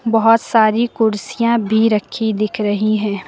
बहुत सारी कूड़सीयां भी रखी दिख रही हैं।